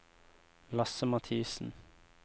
Lasse Mathiesen